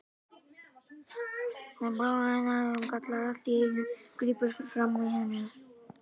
Það er bróðir hennar sem kallar allt í einu, grípur fram í fyrir henni.